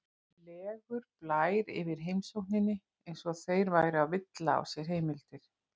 legur blær yfir heimsókninni, eins og þeir væru að villa á sér heimildir.